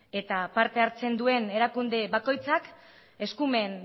eta parte hartzen duen erakunde bakoitzak eskumen